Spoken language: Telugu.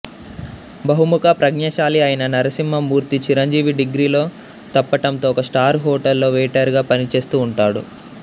బహుముఖ ప్రజ్ఞాశాలి అయిన నరసింహ మూర్తి చిరంజీవి డిగ్రీలో తప్పటంతో ఒక స్టార్ హోటల్లో వెయిటర్ గా పనిచేస్తూ ఉంటాడు